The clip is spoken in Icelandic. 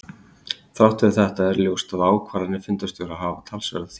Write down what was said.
Þrátt fyrir þetta er ljóst að ákvarðanir fundarstjóra geta haft talsverða þýðingu.